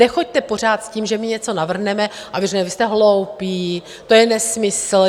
Nechoďte pořád s tím, že my něco navrhneme, a vy řeknete: vy jste hloupí, to je nesmysl.